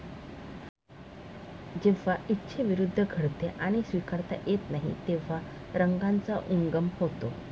जे इच्छेविरुद्ध घडते आणि स्वीकारता येत नाही, तेव्हा रंगाचा उगम होतो.